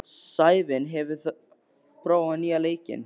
Sævin, hefur þú prófað nýja leikinn?